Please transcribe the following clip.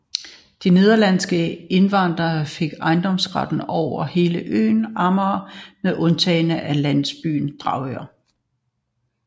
De nederlandske indvandrere fik ejendomsretten over hele øen Amager med undtagelse af landsbyen Dragør